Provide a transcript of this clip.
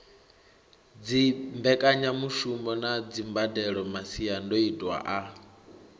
dzimbekanyamushumo na dzimbadelo masiandoitwa a